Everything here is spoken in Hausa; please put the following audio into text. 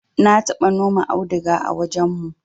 na taba noma auduga a wajen mu